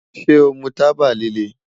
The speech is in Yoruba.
Ṣe o mu taba lile?